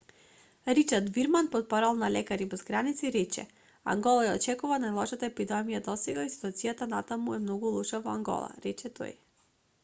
ричард вирман портпарол на лекари без граници рече ангола ја очекува најлошата епидемија досега и ситуацијата и натаму е многу лоша во ангола рече тој